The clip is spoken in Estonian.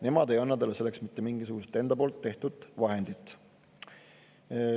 Nemad ei anna talle selleks mitte mingisugust enda tehtud vahendit.